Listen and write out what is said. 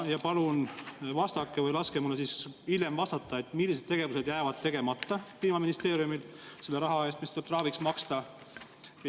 Palun vastake või laske mulle hiljem vastata, millised tegevused jäävad tegemata Kliimaministeeriumil selle raha eest, mis tuleb trahviks maksta.